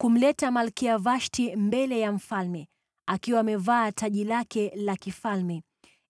kumleta Malkia Vashti mbele ya mfalme akiwa amevaa taji lake la kifalme,